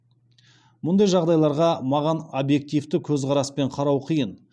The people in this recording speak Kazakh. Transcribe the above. мұндай жағдайларға маған объективті көзқараспен қарау қиын